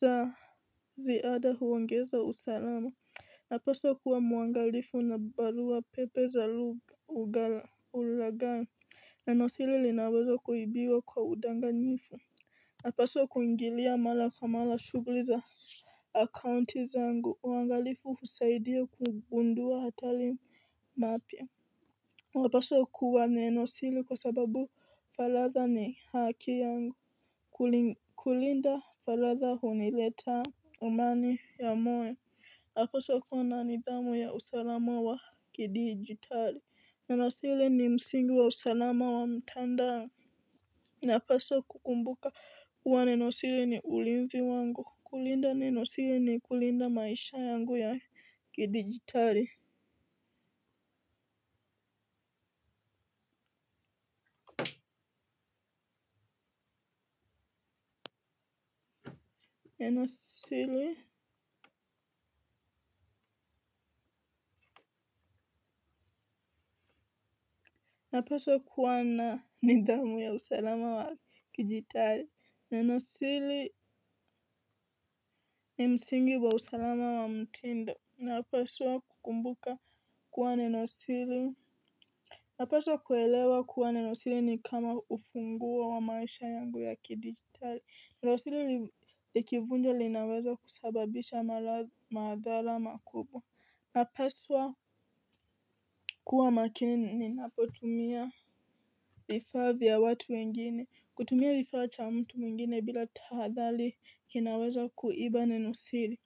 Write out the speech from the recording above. za ziada huongeza usalama. Napaswa kuwa muangalifu na barua pepe za ulaghai nenosiri linaweza kuibiwa kwa udanganyifu. Napaswa kuingilia mara kwa mara shughuli za akaunti zangu. Uangalifu husaidia kugundua hatari. Na pia, napaswa kuwa nenosiri kwa sababu falagha ni haki yangu. Kulinda faragha huniletea amani ya moyo. Napaswa kuwa na nidhamu ya usalama wa kidijitali. Nenosiri ni msingi wa usalama wa mtandao. Napaswa kukumbuka, kuwa nenosiri ni ulinzi wangu. Kulinda nenosiri ni kulinda maisha yangu ya kidigitari. Nenosiri. Napaswa kuwa na nidhamu ya usalama wa kidigitari. Nenosiri ni msingi wa usalama wa mtindo. Napaswa kukumbuka kuwa nenosiri. Napaswa kuelewa kuwa nenosiri ni kama ufunguo wa maisha yangu ya kidigitali. Ninosiri likivunja linaweza kusababisha madhara makubwa. Napaswa, kuwa makini ninapotumia vifaa vya watu wengine. Kutumia kifaa cha mtu mwingine bila tahadhali kinaweza kuiba nenosiri.